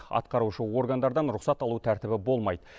атқарушы органдардан рұқсат алу тәртібі болмайды